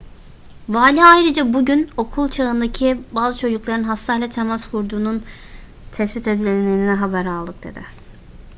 vali ayrıca bugün okul çağındaki bazı çocukların hastayla temas kurduğunun tespit edildiğini haber aldık dedi